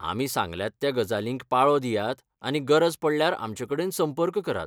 आमी सांगल्यात त्या गजालींक पाळो दियात आनी गरज पडल्यार आमचेकडेन संपर्क करात.